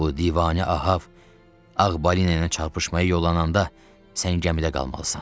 Bu divanə Ahav ağ balina ilə çarpışmaya yollananda sən gəmidə qalmalısan.